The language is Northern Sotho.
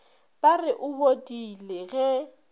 ba re o bodile ge